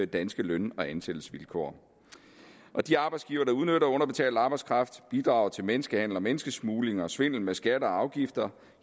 danske løn og ansættelsesvilkår de arbejdsgivere der udnytter underbetalt arbejdskraft bidrager til menneskehandel menneskesmugling og svindel med skatter og afgifter